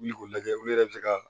Wuli k'o lajɛ olu yɛrɛ bɛ se ka